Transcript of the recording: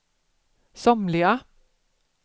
somliga